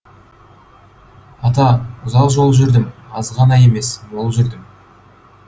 ата ұзақ жол жүрдім аз ғана емес мол жүрдім